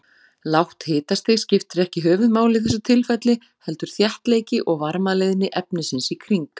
Lágt hitastig skiptir ekki höfuðmáli í þessu tilfelli, heldur þéttleiki og varmaleiðni efnisins í kring.